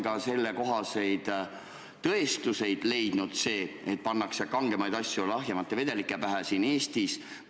Kas selle kohta on tõendeid leitud, et siin Eestis pannakse lahjemate vedelike pähe kangemaid?